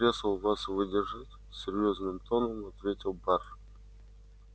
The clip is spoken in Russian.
если кресла вас выдержат серьёзным тоном ответил бар